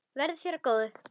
Verði þér að góðu.